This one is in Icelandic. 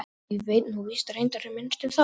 Ég veit nú víst reyndar minnst um það.